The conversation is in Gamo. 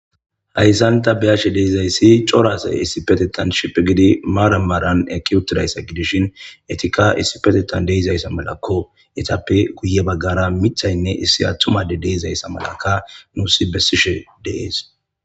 hayssanta biyashe deizayssi corasay issi petetan shipe gidi maaramaran eki utidayssa gidishin etika issi petetan deizayssa malakko etappe guye baggara mithaynne issi attumade deizayssa malakka nuusi bessishe deees